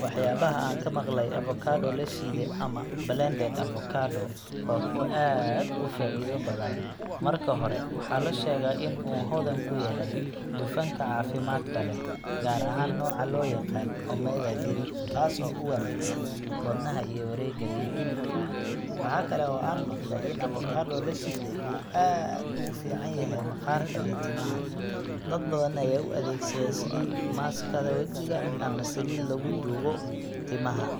Waxyaabaha aan ka maqlay avocado la shiiday, ama blended avocado, waa kuwo aad u faa’iido badan. Marka hore, waxaa la sheegaa in uu hodan ku yahay dufanka caafimaadka leh, gaar ahaan nooca loo yaqaan omega three kaas oo u wanaagsan wadnaha iyo wareegga dhiigga. Waxa kale oo aan maqlay in avocado la shiiday uu aad ugu fiican yahay maqaarka iyo timaha. Dad badan ayaa u adeegsada sidii maaskada wajiga ama saliid lagu duugo timaha,